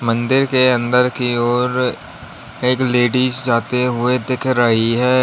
मंदिर के अंदर की ओर एक लेडिस जाते हुए दिख रही है।